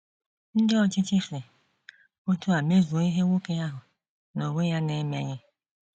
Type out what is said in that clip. Ndị ọchịchị si otú a mezuo ihe nwoke ahụ n’onwe ya na - emelighị.